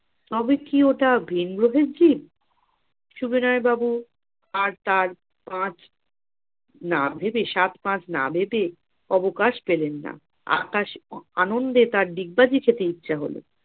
তবে কি ওটা ভিন্ গ্রহের জিব? সবিনয় বাবু আর তার পাঁচ না ভেবে সাত পাঁচ না ভেবে অবকাশ পেলেন না আকাশ আনন্দে তার ডিগবাজি খেতে ইচ্ছা হলো।